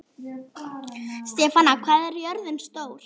Stefana, hvað er jörðin stór?